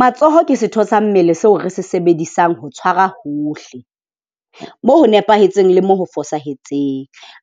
Matsoho ke setho sa mmele seo re se sebedisang ho tshwara hohle. Moo ho nepahetseng le moo ho fosahetseng,